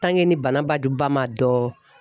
ni bana bajuba ma dɔn